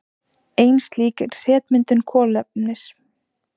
Ein slík er setmyndun kolefnis.